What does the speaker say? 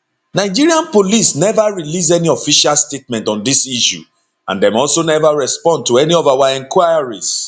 nigerian police neva release any official statement on dis issue and dem also never respond to any of our enquiries